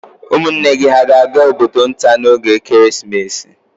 Ụmụnne gị hà ga-aga obodo nta n'oge Krismas?